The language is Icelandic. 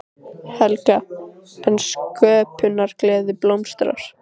Helga: En sköpunargleðin blómstrar?